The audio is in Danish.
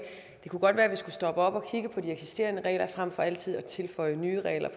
det godt kunne være at vi skulle stoppe op og kigge på de eksisterende regler frem for altid at tilføje nye regler